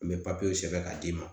N bɛ sɛbɛn k'a d'i ma